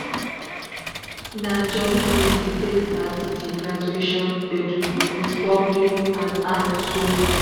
na jolly greeting take start di graduation gbedu with bubbling and high shoulder.